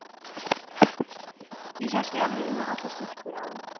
Ég hélt í alvörunni að allar stúlkur á